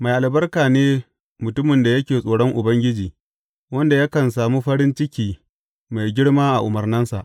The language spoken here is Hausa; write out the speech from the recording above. Mai albarka ne mutumin da yake tsoron Ubangiji, wanda yakan sami farin ciki mai girma a umarnansa.